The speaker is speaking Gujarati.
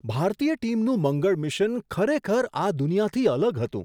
ભારતીય ટીમનું મંગળ મિશન ખરેખર આ દુનિયાથી અલગ હતું!